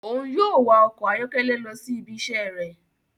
Òún yóò wà ọkọ ayọkẹlẹ lọ si ibi iṣẹ rẹ